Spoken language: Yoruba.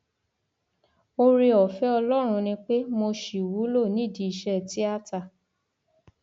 ooreọfẹ ọlọrun ni pé mo ṣì wúlò nídìí iṣẹ tíátá